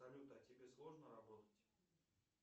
салют а тебе сложно работать